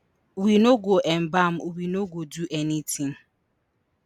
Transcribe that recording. we no go embalm we no go do anytin